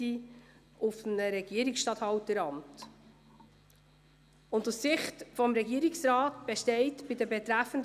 Die Regierungsrätin möchte eine Aussage berichtigen.